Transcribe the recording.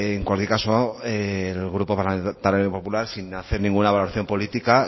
en cualquier caso el grupo parlamentario popular sin hacer ninguna valoración política